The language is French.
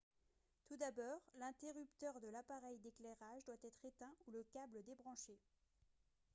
tout d'abord l'interrupteur de l'appareil d'éclairage doit être éteint ou le câble débranché